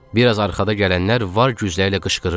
Bir az arxada gələnlər var gücləri ilə qışqırırdı.